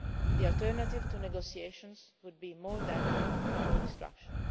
to do. The alternative to negotiations would be more death and more destruction.